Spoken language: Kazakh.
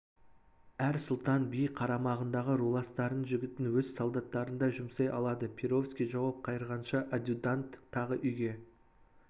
әр сұлтан би қарамағындағы руластарының жігітін өз солдаттарындай жұмсай алады перовский жауап қайырғанша адъютант тағы үйге